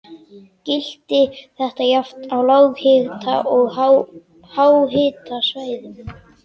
Gilti þetta jafnt á lághita- og háhitasvæðum.